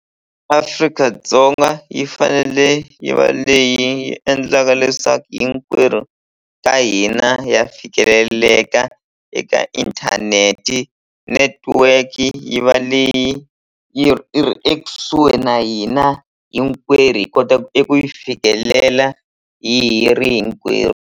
Afrika-Dzonga yi fanele yi va leyi endlaka leswaku hinkwerhu ka hina ha fikeleleka eka internet-i network-i yi va leyi yi ri yi ri ekusuhi na hina hinkwerhu hi kotaku eku yi fikelela hi hi ri hinkwerhu.